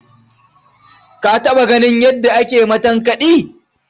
Ka taɓa ganin yadda ake matankaɗi?